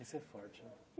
E ser forte.